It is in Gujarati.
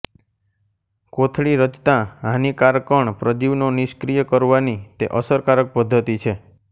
કોથળી રચતા હાનિકારકણ પ્રજીવનો નિષ્ક્રિય કરવાની તે અસરકારક પદ્ધતિ છે